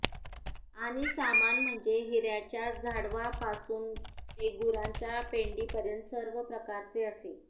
आणि सामान म्हणजे हिऱ्याच्या झाडवापासून ते गुरांच्या पेंडीपर्यंत सर्व प्रकारचे असे